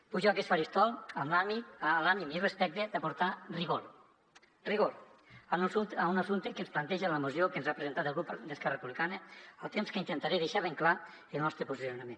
pujo a aquest faristol amb l’ànim i respecte d’aportar rigor rigor a un assumpte que ens planteja la moció que ens ha presentat el grup d’esquerra republicana al temps que intentaré deixar ben clar el nostre posicionament